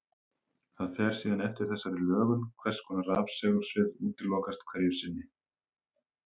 Það fer síðan eftir þessari lögun hvers konar rafsegulsvið útilokast hverju sinni.